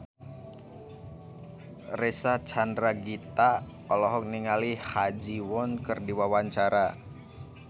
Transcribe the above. Reysa Chandragitta olohok ningali Ha Ji Won keur diwawancara